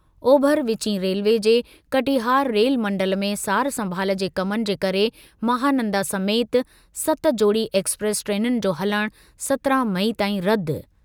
ओभर विचीं रेलवे जे कटिहार रेलमंडल में सार-संभाल जे कमनि जे करे महानंदा समेति सत जोड़ी एक्सप्रेस ट्रेनुनि जो हलणु सत्रहं मई ताईं रदि।